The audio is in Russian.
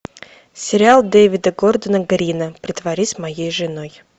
сериал дэвида гордона грина притворись моей женой